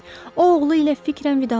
O oğlu ilə fikrən vidalaşırdı.